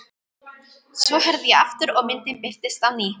Svo herði ég aftur og myndin birtist á ný.